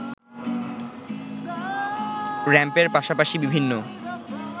র‌্যাম্পের পাশাপাশি বিভিন্ন